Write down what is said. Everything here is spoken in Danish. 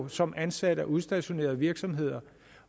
som ansatte og udstationeret af virksomheder